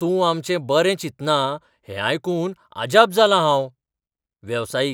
तूं आमचें बरें चिंतना हें आयकून आजाप जालां हांव वेवसायीक